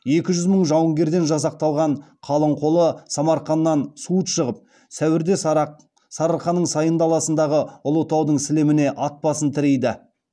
екі жүз мың жауынгерден жасақталған қалың қолы самарқаннан суыт шығып сәуірде сарыарқаның сайын даласындағы ұлытаудың сілеміне ат басын тірейді